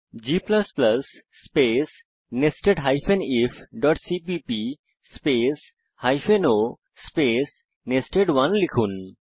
g space nested ifসিপিপি space o space nested one লিখুন